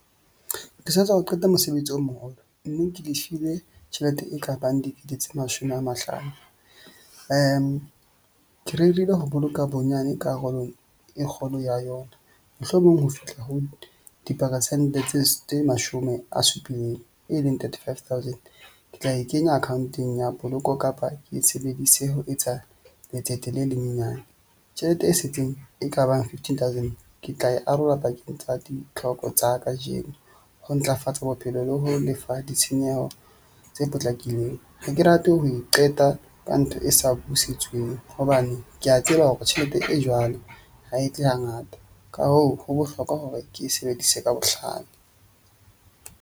Ke satswa ho qeta mosebetsi o moholo. Mme ke le file tjhelete e ka bang dikete tse mashome a mahlano. Ke rerile ho boloka bonyane karolo e kgolo ya yona mohlomong ho fihla ho diperesente tse mashome a supileng e leng thirty five thousand. Ke tla e kenya account-eng ya poloko kapa ke e sebedise ho etsa letsete le lenyenyane. Tjhelete e setseng e kabang fifteen thousand ke tla e arola pakeng tsa ditlhoko tsa ka ho ntlafatsa bophelo le ho lefa ditshenyeho tse potlakileng. Ha ke rate ho e qeta ka ntho e sa hobane ke a tseba hore tjhelete e jwalo ha e tle hangata ka hoo, ho bohlokwa hore ke sebedise ka bohlale.